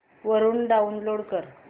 वरून डाऊनलोड कर